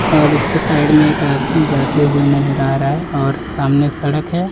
और उसके साइड में एक आदमी जाते हुए नजर आ रहा है और सामने सड़क है।